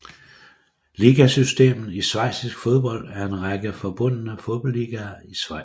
Ligasystemet i schweizisk fodbold er en række forbundne fodboldligaer i Schweiz